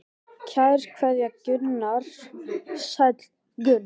Kær kveðja Gunnar Sæll Gunnar.